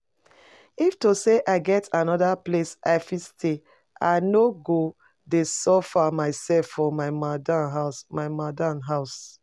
If to say I get another place I fit stay I no go dey suffer myself for my madam house my madam house